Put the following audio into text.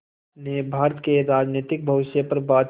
ने भारत के राजनीतिक भविष्य पर बातचीत